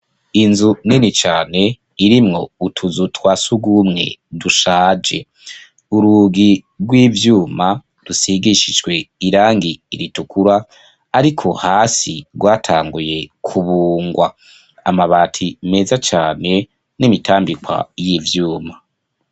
Inzu nini cane, irimwo utuzu twa surwumwe dushaje, urugi rw'ivyuma, rusigishijwe irangi ritukura, ariko hasi, rwatanguye kubungwa, amabati meza cane, n'imitambikwa y'ivyuma.